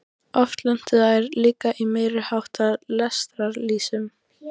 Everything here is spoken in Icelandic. Oft lentu þær líka í meiri háttar lestarslysum.